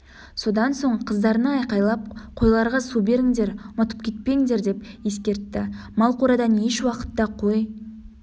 содан соң қыздарына айқайлап қойларға су беріңдер ұмытып кетпендер деп ескертті мал қорадан еш уақытта қой